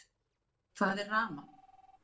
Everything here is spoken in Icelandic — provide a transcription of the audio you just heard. Hvað er rafmagn?